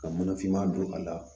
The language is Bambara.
Ka mana finma don a la